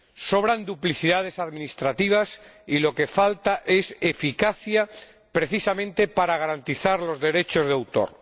Sobran duplicidades administrativas y lo que falta es eficacia, precisamente para garantizar los derechos de autor.